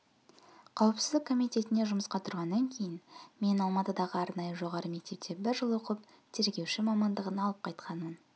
қауіпсіздік комитетіне жұмысқа тұрғаннан кейін мен алматыдағы арнайы жоғары мектепте бір жыл оқып тергеуші мамандығын алып қайтқанмын